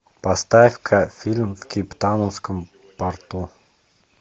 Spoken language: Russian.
поставь ка фильм в кейптаунском порту